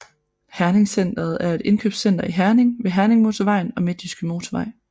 herningCentret er et indkøbscenter i Herning ved Herningmotorvejen og Midtjyske Motorvej